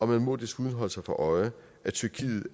man må desuden holde sig for øje at tyrkiet